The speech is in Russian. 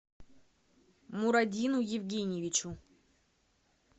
мурадину евгеньевичу